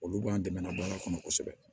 Olu b'an dɛmɛ baara kɔnɔ kosɛbɛ